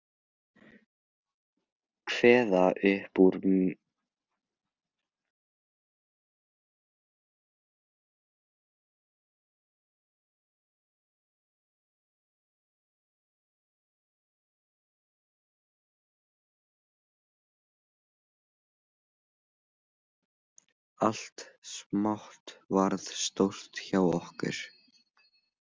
Allt smátt varð stórt hjá okkur.